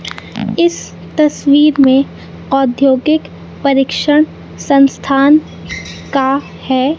इस तस्वीर में औद्योगिक प्रशिक्षण संस्थान का है।